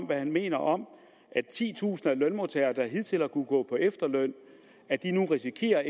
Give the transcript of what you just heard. hvad han mener om at titusinder af lønmodtagere der hidtil har kunnet gå på efterløn nu risikerer at